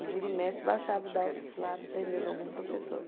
E vira e mexe, baixava o daops lá, prendendo algum professor.